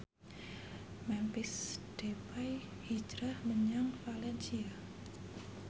Memphis Depay hijrah menyang valencia